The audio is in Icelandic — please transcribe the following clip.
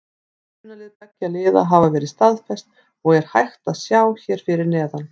Byrjunarlið beggja liða hafa verið staðfest og er hægt að sjá hér fyrir neðan.